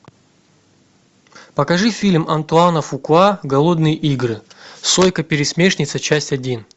покажи фильм антуана фукуа голодные игры сойка пересмешница часть один